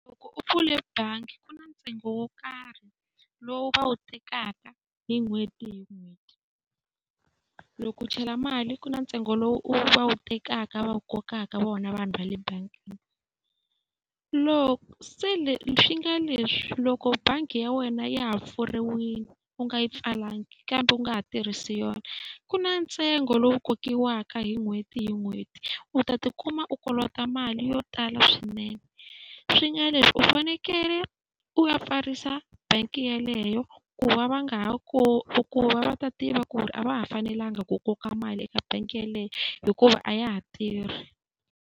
Loko u pfule bangi ku na ntsengo wo karhi lowu va wu tekaka hi n'hweti hi n'hweti. Loko u chela mali ku na ntsengo lowu va wu tekaka va wu kokaka vona vanhu va le bangini. Loko se swi nga leswi loko bangi ya wena ya ha pfuriwile u nga yi pfalanga kambe u nga ha tirhisi yona, ku na ntsengo lowu kokiwaka hi n'hweti hi n'hweti. U ta tikuma u kolota mali yo tala swinene. Swi nga leswi u fanekele u ya pfarisa bangi yeleyo ku va va nga ha ku va ta tiva ku ri a va ha fanelanga ku koka mali eka bangi yeleyo hikuva a ya ha tirhi.